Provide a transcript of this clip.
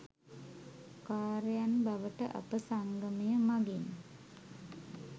කාර්‍යයන් බවට අප සංගමය මගින්